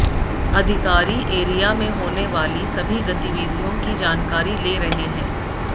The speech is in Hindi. अधिकारी एरिया में होने वाली सभी गतिविधियों की जानकारी ले रहे हैं